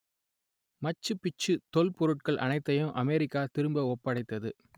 மச்சு Picchu தொல்பொருட்கள் அனைத்தையும் America திரும்ப ஒப்படைத்தது